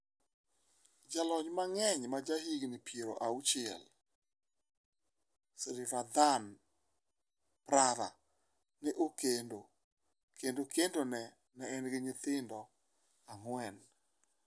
Jalony mang'eny ma ja higni 60, Srivadhanaprabha, ne okendo kendo kendo ne en gi nyithindo ang'wen.